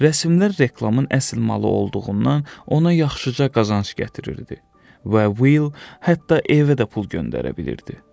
Rəsmlər reklamın əsil malı olduğundan ona yaxşıca qazanc gətirirdi və Will hətta evə də pul göndərə bilirdi.